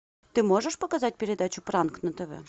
ты можешь показать передачу пранк на тв